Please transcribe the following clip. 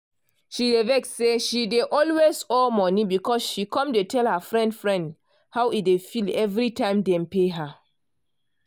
she dey vex say she dey always owe monie she come dey tell her friend friend how e dey feel every time dem pay her.